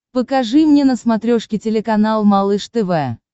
покажи мне на смотрешке телеканал малыш тв